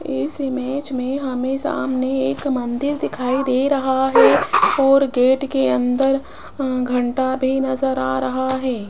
इस इमेज में हमें सामने एक मंदिर दिखाई दे रहा हैं और गेट के अंदर अं घंटा भी नजर आ रहा हैं।